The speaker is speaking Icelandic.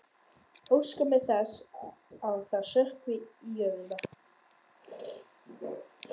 Óska mér þess að það sökkvi í jörðina.